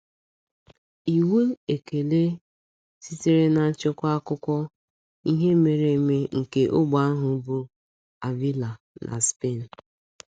Iwu: ekele sitere na nchekwa akụkọ ihe mere eme nke ógbè ahụ bụ Ávila na Spen.